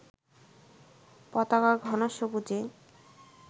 পতাকার ঘন সবুজে